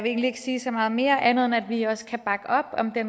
egentlig ikke sige så meget mere andet end at vi også kan bakke op om det